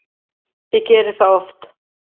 Ég geri það oft